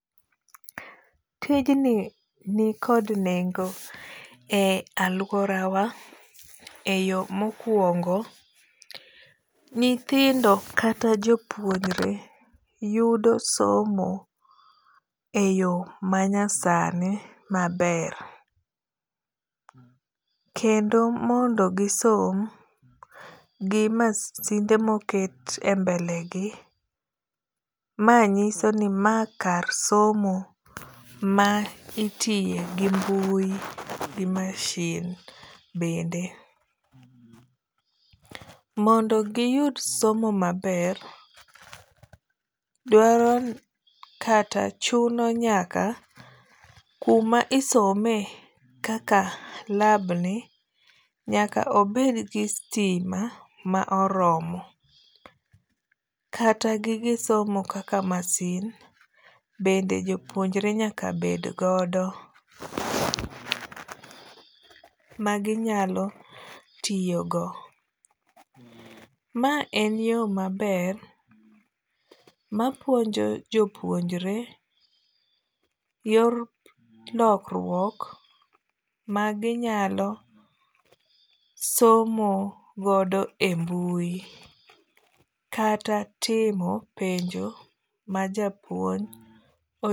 Tijni ni kod nengo e aluora wa e yo mokuongo, nyithindo kata jopuonjre yudo somo e yo manyasani maber. Kendo mondo gisom gi masinde moket e mbele gi, ma nyiso ni ma kar somo ma itiyo gi mbui gi mashin bende. Mondo giyud somo maber dwaro kata chuno nyaka kuma isome kaka lab ni nyaka obed gi sitima ma oromo. Kata gige somo kaka masin bende jopuonjre nyaka bed godo ma ginyalo tiyo go. Ma en yo maber mapuonjo jopuonjre yor lokruok maginyalo somo godo e mbui kata timo penjo ma japuonj